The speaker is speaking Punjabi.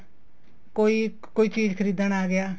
ਕੋਈ ਚੀਜ਼ ਖਰੀਦਣ ਆ ਗਿਆ